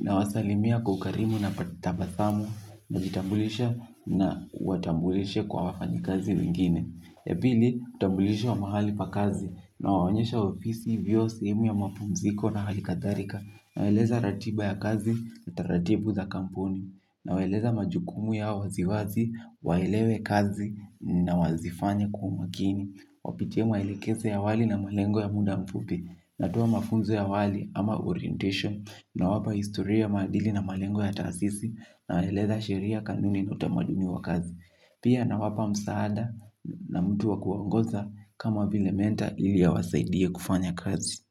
na wasalimia kwa karimu na kwa tabasamu. Najitambulisha na kuwa tambulisha kwa wafanyi kazi wengine. Ya pili, hutambulisha mahali pa kazi nawaonyesha ofisi vyoo sehemu ya mapumziko na hali kadhalika. Nawaeleza ratiba ya kazi na taratibu za kampuni. Na waeleza majukumu yao waziwazi, waelewe kazi na wazifanye kwa umakini. Wapitie maelekezo ya wali na malengo ya muda mfupi. Natoa mafunzo ya awali ama orientation. Na wapa historia maadili na malengo ya taasisi. Na waeleza sheria kanuni na utamaduni wa kazi. Pia na wapa msaada na mtu wa kuwaongoza. Kama vile mentor ili awasaidie kufanya kazi.